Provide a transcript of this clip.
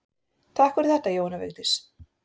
Takk fyrir þetta Jóhanna Vigdís.